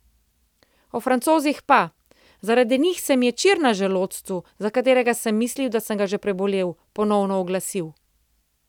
O Francozih pa: "Zaradi njih se mi je čir na želodcu, za katerega sem mislil, da sem ga že prebolel, ponovno oglasil.